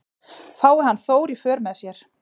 Fái hann Þór í för með sér